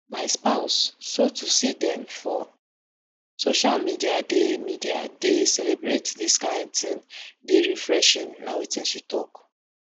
my spouse so to see dem for social media dey media dey celebrate dis kain tin dey refreshing na wetin she tok